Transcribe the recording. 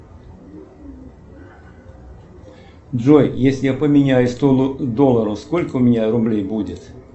джой если я поменяю сто долларов сколько у меня рублей будет